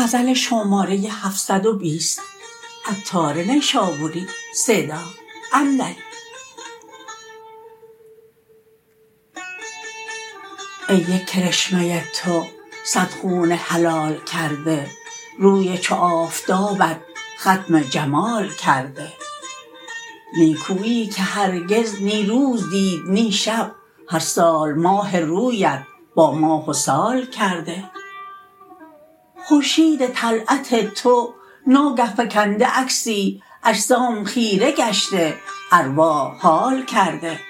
ای یک کرشمه تو صد خون حلال کرده روی چو آفتابت ختم جمال کرده نیکوییی که هرگز نی روز دید نی شب هر سال ماه رویت با ماه و سال کرده خورشید طلعت تو ناگه فکنده عکسی اجسام خیره گشته ارواح حال کرده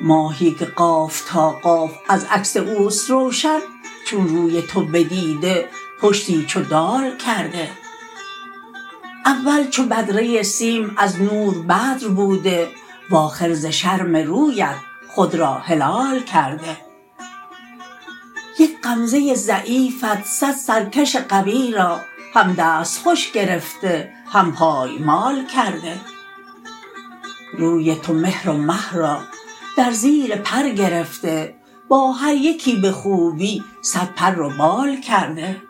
ماهی که قاف تا قاف از عکس اوست روشن چون روی تو بدیده پشتی چو دال کرده اول چو بدره سیم از نور بدر بوده وآخر ز شرم رویت خود را هلال کرده یک غمزه ضعیفت صد سرکش قوی را هم دست خوش گرفته هم پایمال کرده روی تو مهر و مه را در زیر پر گرفته با هر یکی به خوبی صد پر و بال کرده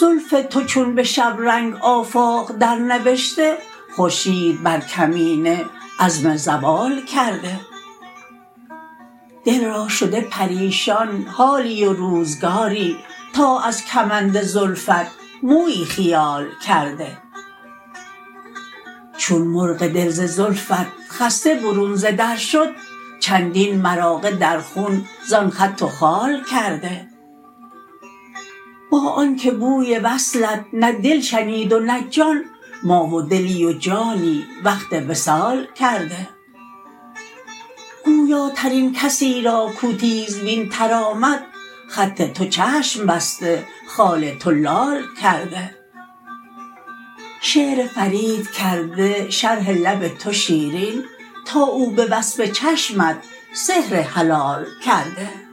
زلف تو چون به شبرنگ آفاق در نوشته خورشید بر کمینه عزم زوال کرده دل را شده پریشان حالی و روزگاری تا از کمند زلفت مویی خیال کرده چون مرغ دل ز زلفت خسته برون ز در شد چندین مراغه در خون زان خط و خال کرده با آنکه بوی وصلت نه دل شنید و نه جان ما و دلی و جانی وقت وصال کرده گویاترین کسی را کو تیزبین تر آمد خط تو چشم بسته خال تو لال کرده شعر فرید کرده شرح لب تو شیرین تا او به وصف چشمت سحر حلال کرده